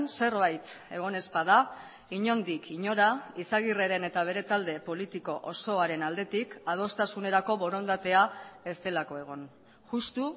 zerbait egon ez bada inondik inora izagirreren eta bere talde politiko osoaren aldetik adostasunerako borondatea ez delako egon justu